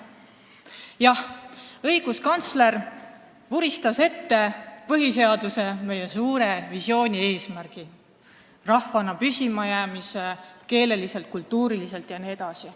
Jah, õiguskantsler vuristas ette põhiseaduses, meie suures visioonis toodud eesmärgid: rahvana püsima jäämine keeleliselt, kultuuriliselt jne.